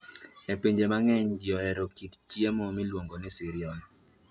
E pinje mang'eny, ji ohero chamo kit chiemo miluongo ni cereal.